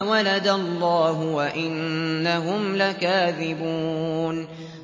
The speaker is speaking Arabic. وَلَدَ اللَّهُ وَإِنَّهُمْ لَكَاذِبُونَ